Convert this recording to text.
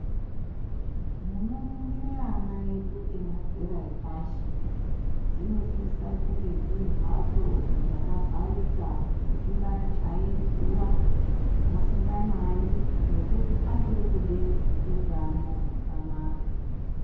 Munofundire ana edu emadzera epashi dzinosisa kunge dziri mbatso dzakavharika musingachayi zuva musinganayi ngekuti achiri kude utano hwakanaka.